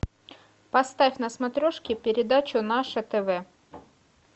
поставь на смотрешке передачу наше тв